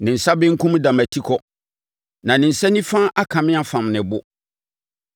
Ne nsa benkum da mʼatikɔ na ne nsa nifa aka me afam ne bo.